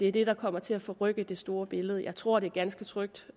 er det der kommer til at forrykke det store billede jeg tror det er ganske trygt